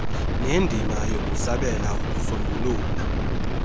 nendima yokusabela ukusombulula